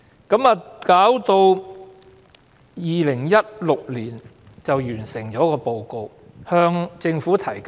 到了2016年，平機會完成報告，並向政府提交。